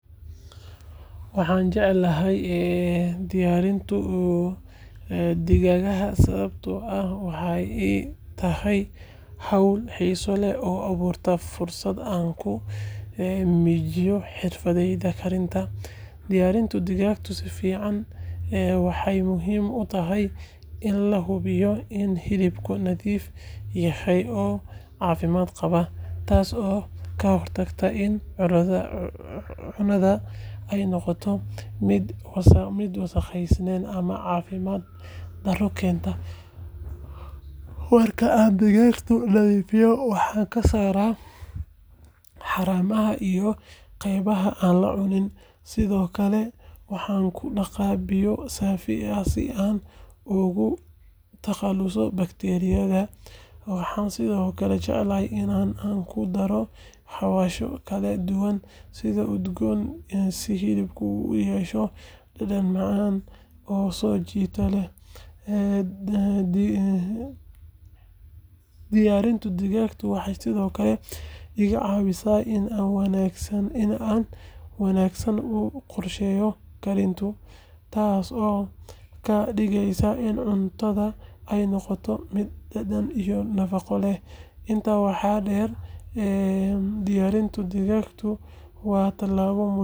Waxaan jeclahay diyaarinta digaagga sababtoo ah waxay ii tahay hawl xiiso leh oo abuurta fursad aan ku muujiyo xirfaddayda karinta. Diyaarinta digaagga si fiican waxay muhiim u tahay in la hubiyo in hilibka nadiif yahay oo caafimaad qabaa, taasoo ka hortagta in cunnada ay noqoto mid wasakhaysan ama caafimaad darro keenta. Marka aan digaagga nadiifiyo, waxaan ka saarayaa haramaha iyo qaybaha aan la cunin, sidoo kalena waxaan ku dhaqaa biyo saafi ah si aan uga takhaluso bakteeriyada. Waxaan sidoo kale jeclahay in aan ku daro xawaashyo kala duwan iyo udgoon si hilibka uu u yeesho dhadhan macaan oo soo jiidasho leh. Diyaarinta digaagga waxay sidoo kale iga caawisaa inaan si wanaagsan u qorsheeyo karinta, taasoo ka dhigeysa in cuntada ay noqoto mid dhadhan iyo nafaqo leh. Intaa waxaa dheer, diyaarinta digaagga waa tallaabo muhiim ah.